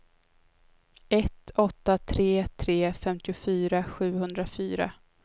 ett åtta tre tre femtiofyra sjuhundrafyra